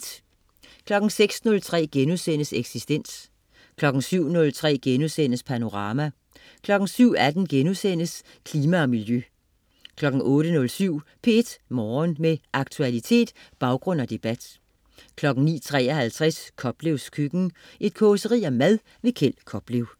06.03 Eksistens* 07.03 Panorama* 07.18 Klima og Miljø* 08.07 P1 Morgen. Med aktualitet, baggrund og debat 09.53 Koplevs Køkken. Et causeri om mad. Kjeld Koplev